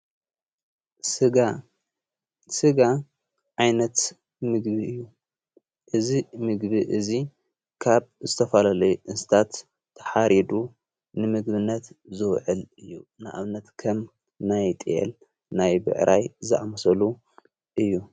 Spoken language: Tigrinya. ሥጋ ዓይነት ምግቢ እዩ ።እዝ ምግቢ እዙ ካብ ዝተፋለለይ እስታት ተሓሪዱ ንምግብነት ዝውዕል እዩ። ንኣብነት ከም ናይ ጥል ፣ናይ ብዕራይ ዛዕመሰሉ እዩ።